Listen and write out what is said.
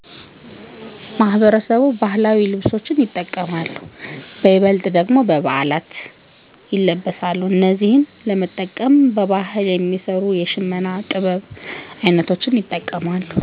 ማህበረሰቡ ባህላዊ ልብሶችን ይጠቀማሉ በይበልጥ ደግሞ በበዓላት ይለበሳሉ እነዚህን ለመጠቀም በባህል የሚሰሩ የሽመና ጥበብ ይጠቀማሉ